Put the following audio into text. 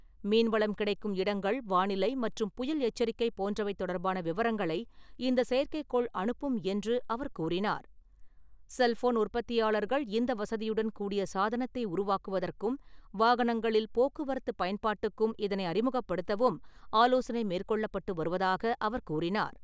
மீன்வளம் கிடைக்கும் இடங்கள், வானிலை மற்றும் புயல் எச்சரிக்கை போன்றவை தொடர்பான விவரங்களை இந்த செயற்கைக்கோள் அனுப்பும் என்று அவர் கூறினார். செல்போன் உற்பத்தியாளர்கள் இந்த வசதியுடன்கூடிய சாதனத்தை உருவாக்குவதற்கும் வாகனங்களில் போக்குவரத்து பயன்பாட்டுக்கும் இதனை அறிமுகப்படுத்தவும் ஆலோசனை மேற்கொள்ளப்பட்டு வருவதாக அவர் கூறினார்.